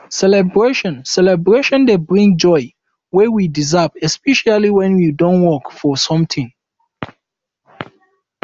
celebration celebration dey bring joy wey you deserve especially when you don work for something